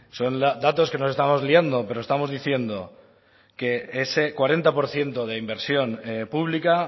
son datos que nos estamos liando pero estamos diciendo que ese cuarenta por ciento de inversión pública